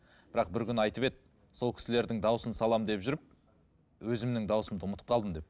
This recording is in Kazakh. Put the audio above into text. бірақ бір күні айтып еді сол кісілердің дауысын саламын деп жүріп өзімнің дауысымды ұмытып қалдым деп